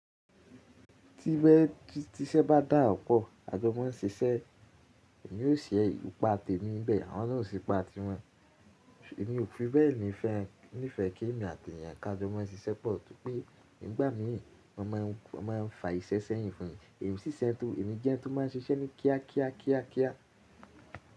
Ti bẹ́ẹ̀ ti iṣẹ́ bá dà pọ̀, a jọ ma ń ṣeṣẹ́ èmi yóò ṣe ipa tèmi níbẹ̀ àwọn náà ó ṣe ipa tiwọn. Èmi ò fi bẹ́ẹ̀ ní ìfẹ́, ní ìfẹ́ kí èmi àti èèyàn ká jọ mọ́ ń ṣiṣẹ́ pọ̀, torí pé nígbà mìí wọ́n máà ń fà ìṣe sẹ́yìn fún mi, èmi sì ṣiṣẹ́ tó, èmi jẹ ẹni tó máa ń ṣiṣẹ́ ní kíá kíá kíá kíá.